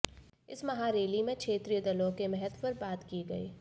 इस महा रैली में क्षेत्रीय दलों के महत्व पर बात की गई